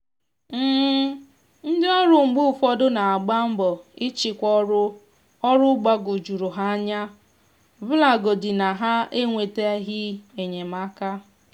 ọzụzụ na nkwalite nka ọhụrụ nwere ọhụrụ nwere ike um iwulite ntụkwasị obi ndị ọrụ aka ná ịgba mbọ ná ọrụ ha.